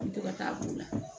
An mi to ka taa b'o la